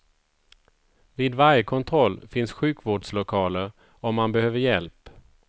Vid varje kontroll finns sjukvårdslokaler om man behöver hjälp.